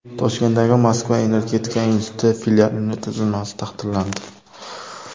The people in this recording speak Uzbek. Toshkentdagi Moskva energetika instituti filialining tuzilmasi tasdiqlandi.